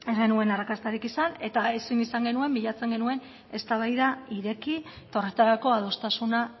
genuen arrakastarik izan eta ezin izan genuen bilatzen genuen eztabaida ireki eta horretarako adostasuna